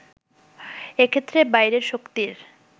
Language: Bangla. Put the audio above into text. এক্ষেত্রে বাইরের শক্তির